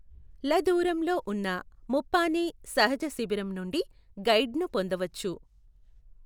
ల దూరంలో ఉన్న ముప్పానే సహజ శిబిరం నుండి గైడ్ ను పొందవచ్చు.